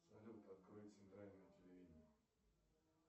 салют открой центральное телевидение